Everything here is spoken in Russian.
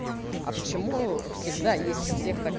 а почему всегда есть у всех так